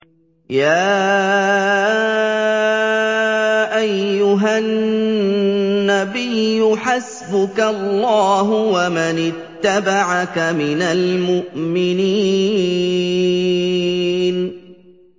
يَا أَيُّهَا النَّبِيُّ حَسْبُكَ اللَّهُ وَمَنِ اتَّبَعَكَ مِنَ الْمُؤْمِنِينَ